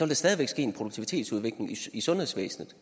der stadig væk ske en produktivitetsudvikling i sundhedsvæsenet